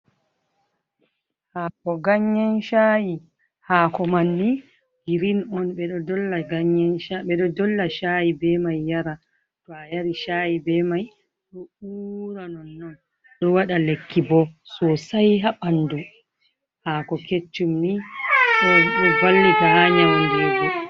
Haako ganyen caayi, haako manni girin on, ɓe ɗo dolla caayi be may yara, to a yari caayi be may, ɗo uura non-non, ɗo waɗa lekki bo soosay haa ɓanndu, haako keccum ni ɗo vallita haa nyamgo nyiiri.